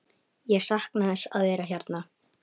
Ég sakna þess að vera hérna.